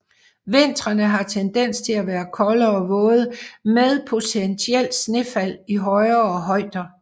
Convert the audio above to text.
Vintrene har tendens til at være kolde og våde med potentielt snefald i højere højder